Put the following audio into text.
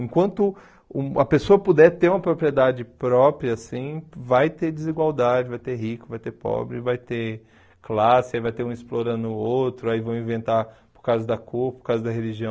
Enquanto a pessoa puder ter uma propriedade própria, assim vai ter desigualdade, vai ter rico, vai ter pobre, vai ter classe, vai ter um explorando o outro, aí vão inventar por causa da cor, por causa da religião...